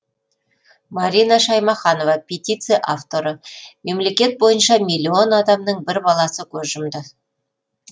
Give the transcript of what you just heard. марина шаймаханова петиция авторы мемлекет бойынша миллион адамның бір баласы көз жұмды